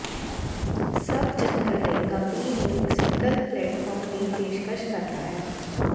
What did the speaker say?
ਸਭ ਜੰਤਰ ਲਈ ਕੰਪਨੀ ਨੂੰ ਇੱਕ ਸਿੰਗਲ ਪਲੇਟਫਾਰਮ ਦੀ ਪੇਸ਼ਕਸ਼ ਕਰਦਾ ਹੈ